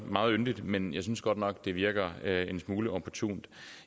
meget yndigt men jeg synes godt nok at det virker en smule opportunt